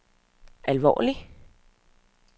alvorlige